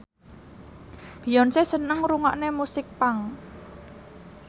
Beyonce seneng ngrungokne musik punk